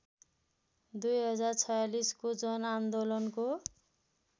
२०४६ को जनआन्दोलनको